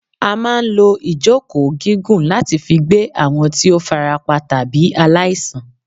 A máa ń lọ ìjókòó gígùn láti fi gbé àwọn tí ó farapa tàbí aláìsàn.